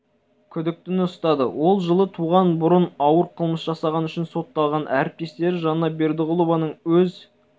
күдіктіні ұстады ол жылы туған бұрын ауыр қылмыс жасағаны үшін сотталған әріптестері жанна бердіғұлованың өз